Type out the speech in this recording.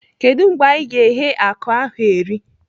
Kedụ mgbe anyị ga-eghe akụ ahụ eri?